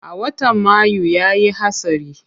A watan mayu yayi hatsari.